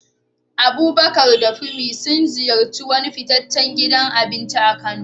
Abubakar da Funmi sun ziyarci wani fitaccen gidan abinci a Kano.